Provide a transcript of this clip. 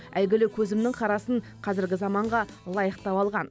әйгілі көзімнің қарасын қазіргі заманға лайықтап алған